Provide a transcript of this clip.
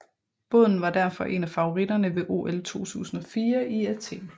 Båden var derfor en af favoritterne ved OL 2004 i Athen